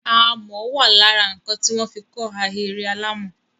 Amọ̀ wà lára nǹkan tí wọ́n fi kọ́ ahéré alàmọ̀.